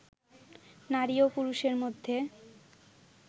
নারী ও পুরুষের মধ্যে